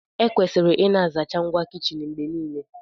Ekwesịrị ịna-asacha ngwa kichin mgbe niile